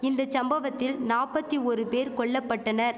இந்த சம்பவத்தில் நாப்பத்தி ஓரு பேர் கொல்லபட்டனர்